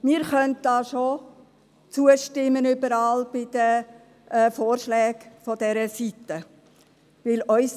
Wir können da schon überall bei den Vorschlägen dieser Seite zustimmen.